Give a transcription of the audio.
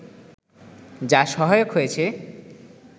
যা সহায়ক হয়েছে